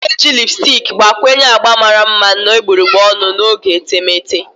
A na-eji lipusticki gbakwunye agba mara mma na egbugbere ọnụ n'oge etemeete.